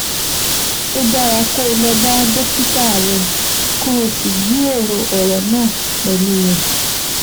Ó dára kó o lọ bá dókítà rẹ kó o sì jíròrò ọ̀rọ̀ náà pẹ̀lú rẹ̀